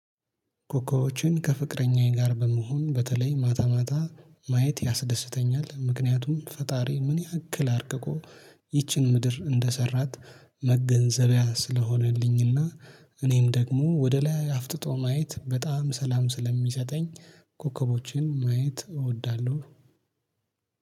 ኮከቦዎችን ከፍቅረኛዬ ጋር በመሆን በተለይ ማታ ማታ ማየት ያስደስተኛል ምክንያቱም ፈጣሪ ምን ያክል አርቅቆ ይቺን ምድር እንደሰራት መገንዘቢያ ስለሆነልኝና እኔም ደግሞ ወደ ላይ አፍጥጦ ማየት በጣም ሰላም ስለሚሰጠኝ። ኮከቦችን ማየት እወዳለሁ።